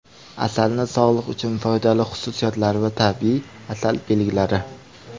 Asalning sog‘liq uchun foydali xususiyatlari va tabiiy asal belgilari.